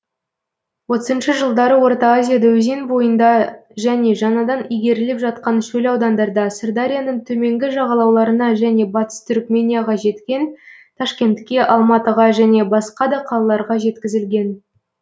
отызыншы жылдары орта азияда өзен бойында және жаңадан игеріліп жаткан шөл аудандарда сырдарияның төменгі жағалауларына және батыс түрікменияға жеткен ташкентке алматыға және басқада қалаларға жеткізілген